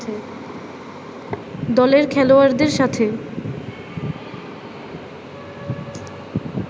দলের খেলোযাড়দের সাথে